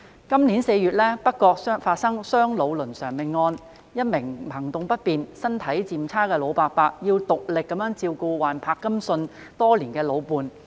今年4月北角發生兩老倫常命案，一名行動不便、身體漸差的老伯伯要獨力照顧患柏金遜症多年的老伴。